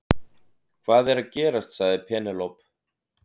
Hvað er að gerast sagði Penélope.